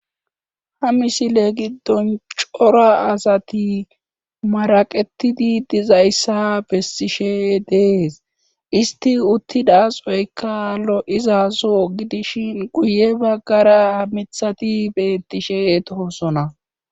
Ha misile giddon cora asati maraqetidi dizayssa bessishe dees isti uttidasoyka lo7izaso gidishin guye baggara mithati beettishe toosona.